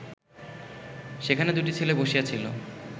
সেখানে দুটি ছেলে বসিয়াছিল